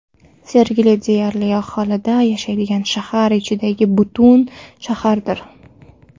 Sergeli deyarli alohida yashaydigan shahar ichidagi butun shahardir.